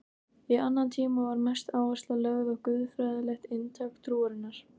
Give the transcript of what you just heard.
Í annan tíma var mest áhersla lögð á guðfræðilegt inntak trúarinnar.